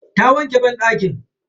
Ta wanke banɗaki.